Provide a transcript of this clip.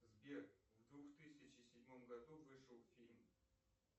сбер в двух тысячи седьмом году вышел фильм